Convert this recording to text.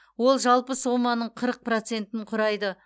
ол жалпы соманың қырық процентін құрайды